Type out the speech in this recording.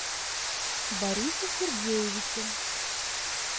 борису сергеевичу